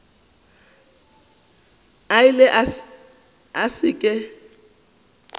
a ile a se ke